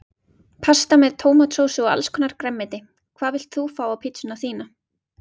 Pasta með tómatsósu og allskonar grænmeti Hvað vilt þú fá á pizzuna þína?